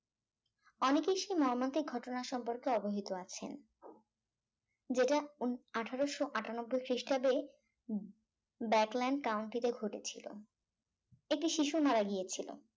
অনেকেই সেই মর্মান্তিক ঘটনার সম্পর্কে অবহিত আছেন যেটা উন আঠারোশো আটানব্বই খ্রিস্টাব্দে উম বাকল্যান্ড country তে ঘটেছিল একটি শিশু মারা গিয়েছিল